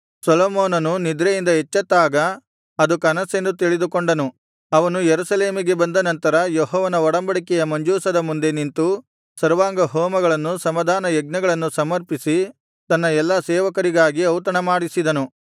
ಸೊಲೊಮೋನನು ನಿದ್ರೆಯಿಂದ ಎಚ್ಚತ್ತಾಗ ಅದು ಕನಸೆಂದು ತಿಳಿದುಕೊಂಡನು ಅವನು ಯೆರೂಸಲೇಮಿಗೆ ಬಂದ ನಂತರ ಯೆಹೋವನ ಒಡಂಬಡಿಕೆಯ ಮಂಜೂಷದ ಮುಂದೆ ನಿಂತು ಸರ್ವಾಂಗಹೋಮಗಳನ್ನು ಸಮಾಧಾನ ಯಜ್ಞಗಳನ್ನು ಸಮರ್ಪಿಸಿ ತನ್ನ ಎಲ್ಲಾ ಸೇವಕರಿಗಾಗಿ ಔತಣಮಾಡಿಸಿದನು